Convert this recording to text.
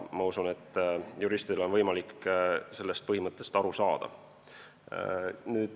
Ma usun, et juristil on võimalik sellest põhimõttest aru saada.